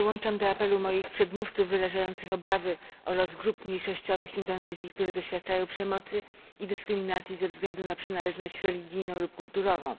Dołączam do apelu moich przedmówców wyrażających obawy o los grup mniejszościowych w Indonezji, które doświadczają przemocy i dyskryminacji ze względu na przynależność religijną lub kulturową.